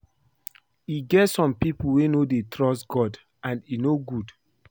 E get some people wey no dey trust God and e no good